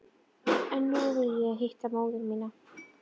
En nú vil ég hitta móður mína.